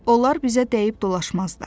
Onlar bizə dəyib-dolaşmazlar.